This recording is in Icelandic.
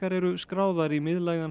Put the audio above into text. eru skráðar í miðlægan